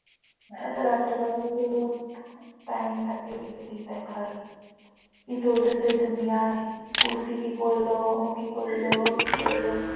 করল ও কি করলো ও কি করলো